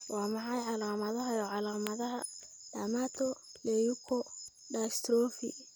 Waa maxay calaamadaha iyo calaamadaha Dermatoleukodystrophy?